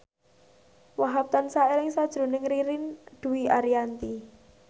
Wahhab tansah eling sakjroning Ririn Dwi Ariyanti